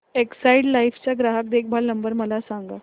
Exide life चा ग्राहक देखभाल नंबर मला सांगा